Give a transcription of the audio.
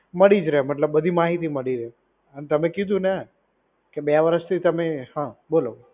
મળી રહે. મમતલબ બધી માહિતી મળી રહે. અને તમે કીધું ને કે બે વર્ષથી તમે, હા બોલો